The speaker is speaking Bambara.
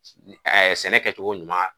sɛnɛkɛcogo ɲuman.